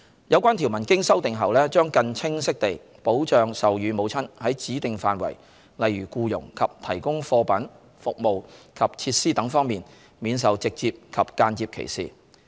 有關條文經修訂後，將更清晰地保障授乳母親在指定範疇，例如僱傭及提供貨品、服務及設施等方面，免受直接及間接歧視。